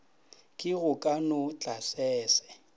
ke go ka no tlasese